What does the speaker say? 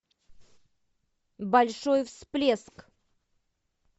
большой всплеск